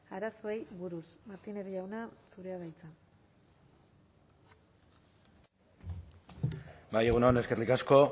arazoei buruz martínez jauna zurea da hitza bai egun on eskerrik asko